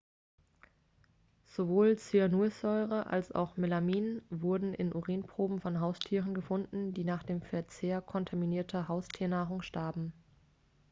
sowohl cyanursäure als auch melamin wurden in urinproben von haustieren gefunden die nach dem verzehr kontaminierter haustiernahrung starben